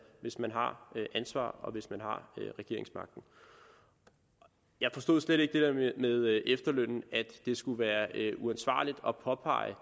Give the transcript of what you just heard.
hvis man har ansvaret og hvis man har regeringsmagten jeg forstod slet ikke det med efterlønnen at det skulle være uansvarligt at påpege